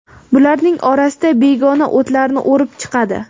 Bularning orasida begona o‘tlarni o‘rib chiqadi.